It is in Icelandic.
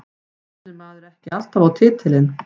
Stefnir maður ekki alltaf á titilinn?